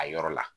A yɔrɔ la